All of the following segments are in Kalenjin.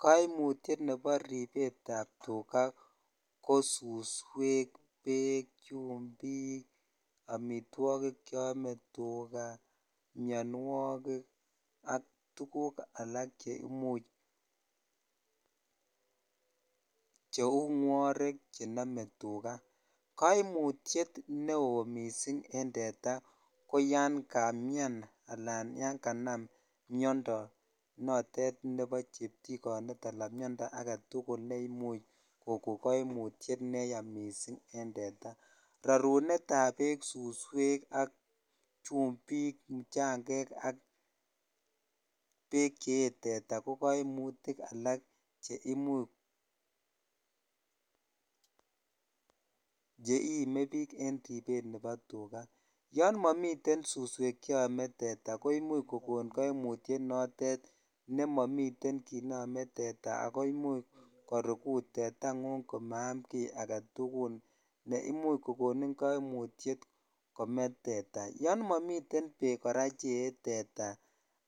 Koimutiet nebo ribetab tukaa ko suswek, beek, chumbik, amitwokik cheome tukaa, mionwokik ak tukuk alak cheimuch cheuu ngworek chenome tukaa, koimutiet neoo mising en teta ko yoon kamian alaan yoon kanam miondo noton nebo cheptikonet alaan miondo aketukul neimuch koko koimutiet neyaa mising en teta, rorunetab beek, suswek ak chumbik, mchang'ek ak bek chee teta ko koimutik alak cheimuch cheimebik en ribet nebo tukaa, yoon momiten suswek cheome teta koimuch kokon koimutiet notet nemomiten kiit neome teta ak koimuch korukut tetang'ung amaam kii aketukul neimuch kokonin koimutiet komee teta, yoon momiten beek kora cheyee teta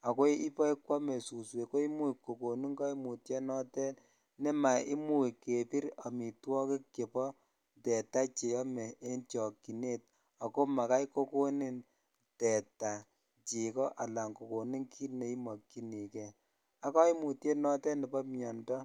ak ko ibokwome suswek ko imuch kokonin koimutio notet nemaimuch kebir amitwokik chebo teta cheome en chokyinet ak ko makai kokonin teta cheko alaan kokonin kiit neimokyinike ak koimutiet notet nebo miondo.